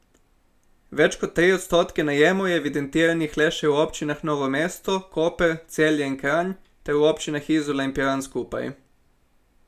Več kot tri odstotke najemov je evidentiranih le še v občinah Novo mesto, Koper, Celje in Kranj ter v občinah Izola in Piran skupaj.